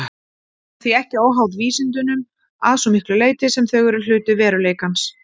Hún er því ekki óháð vísindunum að svo miklu leyti sem þau eru hluti veruleikans.